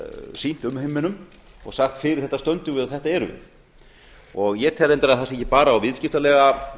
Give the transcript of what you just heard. sýnt umheiminum og sagt fyrir þetta stöndum við og þetta erum við ég tel reyndar að það sé ekki bara á viðskiptalega